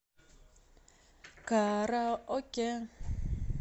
караоке